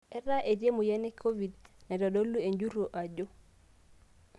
Ata etii Emoyian e Covid, naitodolu enjurro ajo